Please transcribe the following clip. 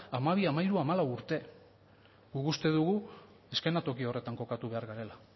hamabi hamairu hamalau urte guk uste dugu eszenatoki horretan kokatu behar garela